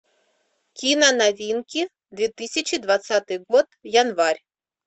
кино новинки две тысячи двадцатый год январь